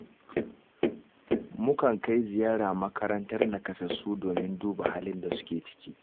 Mukan kai ziyara makarantar nakasassu domin duba halin da suke ciki